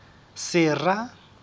sera